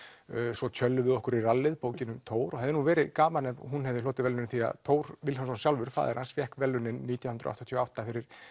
svo tjöllum við okkur í rallið bókin um Thor og það hefði verð gaman ef hún hefði hlotið verðlaunin því Thor Vilhjálmsson sjálfur faðir hans fékk verðlaunin sjálfur nítján hundruð áttatíu og átta fyrir